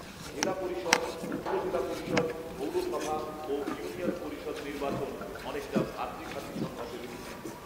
জেলা পরিষদ, উপজেলা পরিষদ, পৌরসভা ও ইউনিয়ন পরিষদ নির্বাচন অনেকটা ভ্রাতৃঘাতী সংঘাতে রূপ নেয়